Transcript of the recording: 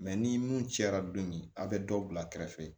Mɛ ni mun cɛra don min a bɛ dɔ bila kɛrɛfɛ